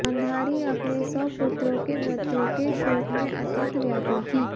गांधारी अपने सौ पुत्रों के मृत्यु के शोक में अत्यन्त व्याकुल थी